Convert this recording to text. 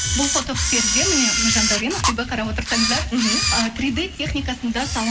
бұл фотоперде міне жандаурен ақбибі қарап отырсаңыздар мхм ы три д техникасында